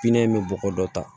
Pinɛ in bɛ bɔgɔ dɔ ta